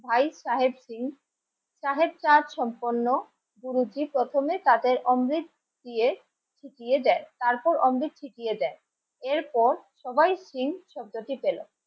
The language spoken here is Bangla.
ভাই সাহেব সিং সাহেব চাঁদ সম্পন্ন কুরুচি প্রথমে তাদের অমৃত দিয়ে দেয় তারপর অমৃত দেয় এরপর সবাই চীন শব্দটি পেল